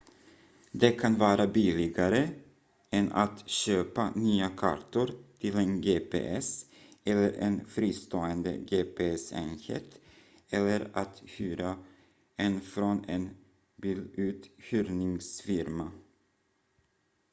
det kan vara billigare än att köpa nya kartor till en gps eller en fristående gps-enhet eller att hyra en från en biluthyrningsfirma